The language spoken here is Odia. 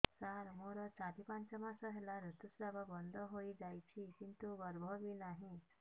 ସାର ମୋର ଚାରି ପାଞ୍ଚ ମାସ ହେଲା ଋତୁସ୍ରାବ ବନ୍ଦ ହେଇଯାଇଛି କିନ୍ତୁ ଗର୍ଭ ବି ନାହିଁ